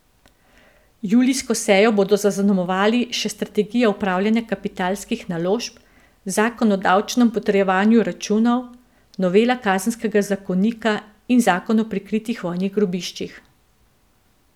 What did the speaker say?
Julijsko sejo bodo zaznamovali še strategija upravljanja kapitalskih naložb, zakon o davčnem potrjevanju računov, novela kazenskega zakonika in zakon o prikritih vojnih grobiščih.